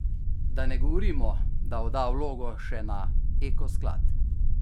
Da ne govorimo, da odda vlogo še na Eko sklad.